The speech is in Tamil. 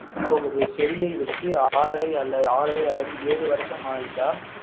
போகுது செடியை வைத்து ஆறரை அல்லது ஏழு வருஷம் ஆகிட்டா